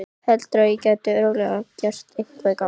Heldurðu að ég geti örugglega gert eitthvert gagn?